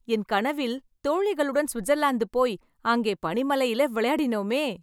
என் கனவில், தோழிகளுடன் ஸ்விட்ஸர்லாந்து போய், அங்கே பனி மலையில விளையாடினோமே...